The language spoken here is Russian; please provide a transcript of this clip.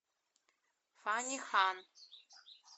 фанни хан